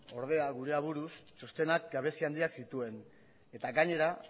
gure aburuz ordea txostenak gabezi handiak zituen eta gainera